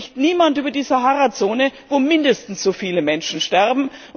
Aber hier spricht niemand über die Sahara Zone, wo mindestens so viele Menschen sterben.